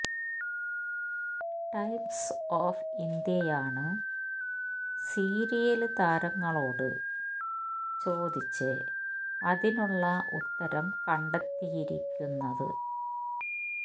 times of ഇന്ത്യയാണ് serial താരങ്ങളോട് ചോദിച്ച് അതിനുള്ള ഉത്തരം കണ്ടെത്തിയിരിക്കുന്നത്